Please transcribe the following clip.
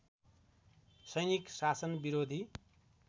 सैनिक शासनविरोधी